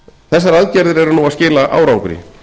þessar aðgerðir eru nú að skila árangri